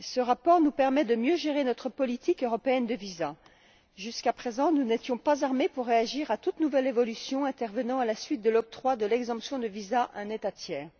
Ce rapport nous permet de mieux gérer notre politique européenne des visas. Jusqu'à présent, nous n'étions pas armés pour réagir à toute nouvelle évolution consécutive à l'octroi de l'exemption de visa à un pays tiers.